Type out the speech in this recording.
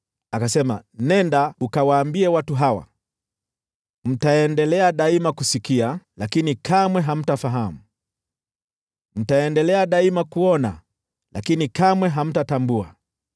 Akasema, “Nenda ukawaambie watu hawa: “ ‘Mtaendelea daima kusikiliza, lakini kamwe hamtaelewa; mtaendelea daima kutazama, lakini kamwe hamtatambua.’